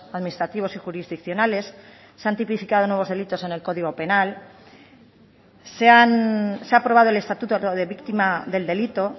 administrativos y jurisdiccionales se han tipificado nuevos delitos en el código penal se ha aprobado el estatuto de víctima del delito